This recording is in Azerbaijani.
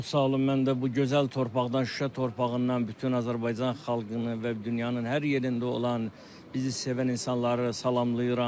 Çox sağ olun, mən də bu gözəl torpaqdan, Şuşa torpağından bütün Azərbaycan xalqını və dünyanın hər yerində olan bizi sevən insanları salamlayıram.